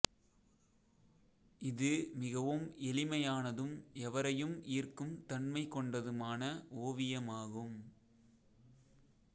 இது மிகவும் எளிமையானதும் எவரையும் ஈர்க்கும் தன்மை கொண்டதுமான ஓவியமாகும்